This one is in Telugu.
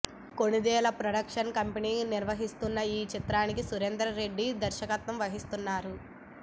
కొణిదెల ప్రొడక్షన్ కంపెనీ నిర్మిస్తోన్న ఈ చిత్రానికి సురేందర్ రెడ్డి దర్శకత్వం వహిస్తున్నారు